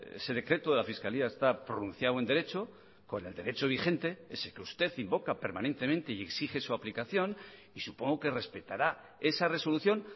ese decreto de la fiscalía está pronunciado en derecho con el derecho vigente ese que usted invoca permanentemente y exige su aplicación y supongo que respetará esa resolución